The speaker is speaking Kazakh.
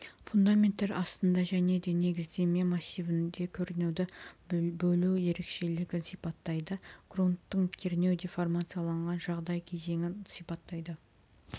фундамент астында және де негіздеме массивінде кернеуді бөлу ерекшелігін сипаттайды грунттың кернеу деформацияланған жағдай кезеңін сипаттайды